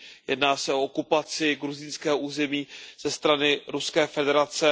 Jedná se o okupaci gruzínského území ze strany Ruské federace.